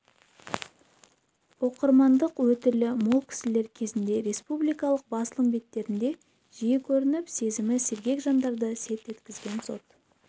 оқырмандық өтілі мол кісілер кезінде республикалық басылым беттерінде жиі көрініп сезімі сергек жандарды селт еткізген сот